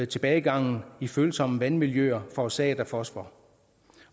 tilbagegangen i følsomme vandmiljøer forårsaget af fosfor